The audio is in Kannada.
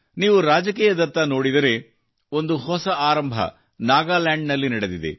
ನೀವು ರಾಜಕೀಯದತ್ತ ನೋಡಿದರೆ ಒಂದು ಹೊಸ ಆರಂಭ ನಾಗಾಲ್ಯಾಂಡ್ ನಲ್ಲಿ ನಡೆದಿದೆ